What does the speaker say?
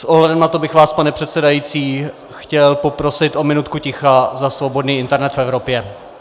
S ohledem na to bych vás, pane předsedající, chtěl poprosit o minutku ticha za svobodný internet v Evropě.